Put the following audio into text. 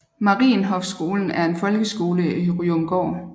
Marienhoffskolen er en folkeskole i Ryomgård